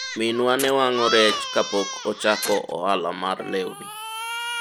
minwa ne wang'o rech kapok ochako ohala mar lewni